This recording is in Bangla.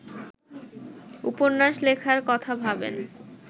উপন্যাস লেখার কথা ভাবেন